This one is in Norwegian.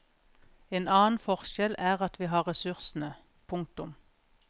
En annen forskjell er at vi har ressursene. punktum